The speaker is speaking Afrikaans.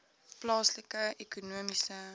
plaaslike ekonomiese